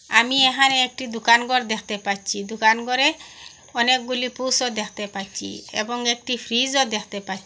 আমি এহানে একটি দুকান গর দ্যাখতে পাচ্চি দুকান গরে অনেকগুলি পুসও দ্যাখতে পাচ্চি এ্যাবং একটি ফ্রিজ -ও দ্যাখতে পা --